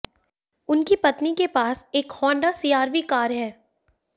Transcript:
उनकी पत्नी के पास एक होंडा सीआरवी कार है